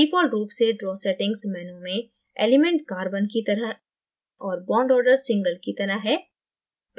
default रूप से draw settingsमेनू में element carbonकी तरह और bond ordersingleकी तरह है